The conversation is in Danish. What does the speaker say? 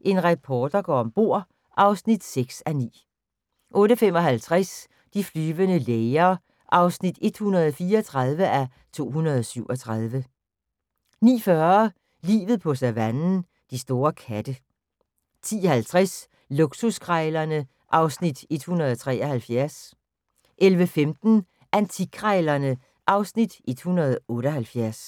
En reporter går om bord (6:9) 08:55: De flyvende læger (134:237) 09:40: Livet på savannen – de store katte 10:30: Luksuskrejlerne (Afs. 173) 11:15: Antikkrejlerne (Afs. 178)